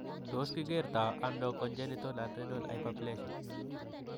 Tos' kikerto nano congenital adrenal hyperplasia?